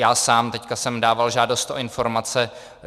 Já sám teď jsem dával žádost o informace.